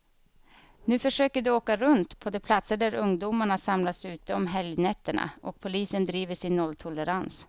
Nu försöker de åka runt på de platser där ungdomarna samlas ute om helgnätterna, och polisen driver sin nolltolerans.